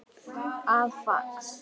eða fax